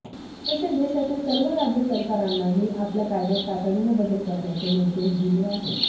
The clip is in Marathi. तसेच देशातील सर्व राज्य सरकारनाही आपल्या कायद्यात तातडीने बदल करण्याचे निर्देश दिले आहेत